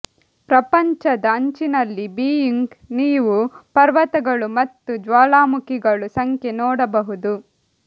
ಪ್ರಪಂಚದ ಅಂಚಿನಲ್ಲಿ ಬೀಯಿಂಗ್ ನೀವು ಪರ್ವತಗಳು ಮತ್ತು ಜ್ವಾಲಾಮುಖಿಗಳು ಸಂಖ್ಯೆ ನೋಡಬಹುದು